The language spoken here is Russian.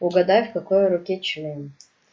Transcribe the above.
угадай в какой руке член